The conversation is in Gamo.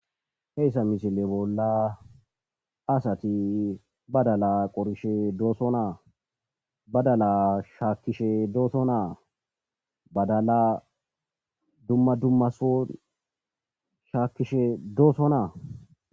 heyssa misile bolla asati badala qorishe dooso naa badala shaakishe dooto naa badala dumma dummaso shaakishe dooso naa